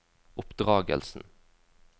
oppdragelsen